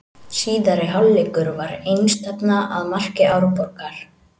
Síðari hálfleikur var einstefna að marki Árborgar.